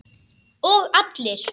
Og allir.